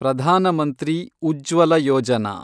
Pradhan Mantri Ujjwala Yojana